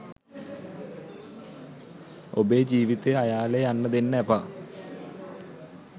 ඔබේ ජීවිතය අයාලේ යන්න දෙන්න එපා.